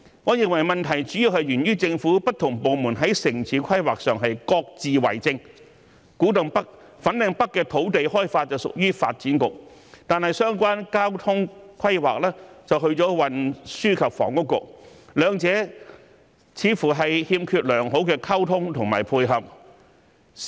我認為問題主要源於政府不同部門在城市規劃上各自為政，古洞北、粉嶺北的土地開發屬於發展局，但相關交通規劃則屬於運輸及房屋局，兩者似乎欠缺良好溝通和配合。